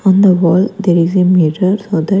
On the wall there is a mirror so that--